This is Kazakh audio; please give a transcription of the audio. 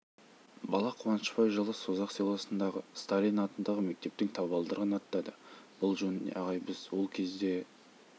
бала қуанышбай жылы созақ селосындағы сталин атындағы мектептің табалдырығын аттады бұл жөнінде ағай біз ол кезде